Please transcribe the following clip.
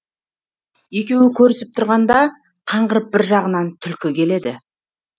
екеуі керісіп тұрғанда қаңғырып бір жағынан түлкі келеді